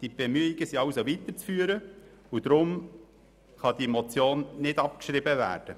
Diese Bemühungen sind also weiterzuführen, und deshalb kann diese Motion nicht abgeschrieben werden.